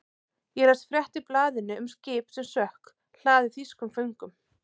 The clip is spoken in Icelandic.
Ég las frétt í blaðinu um skip sem sökk, hlaðið þýskum föngum.